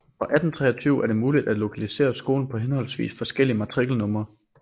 Fra 1823 er det muligt at lokalisere skolen på henholdsvis forskellige matrikelnumre